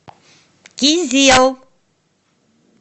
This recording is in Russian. кизел